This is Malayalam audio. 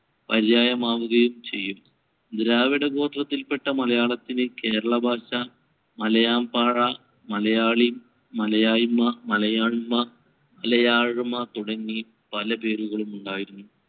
പര്യായമാവുകയും ചെയ്യും. ദ്രാവിഡഗോത്രത്തിൽപെട്ട മലയാളത്തിന് കേരളഭാഷ, മലയാൻപാറ, മലയാളി, മലയായ്മ, മലയാണ്മ, മലയാഴ്മ തുടങ്ങി പലപേരുകളും ഉണ്ടായിരുന്നു.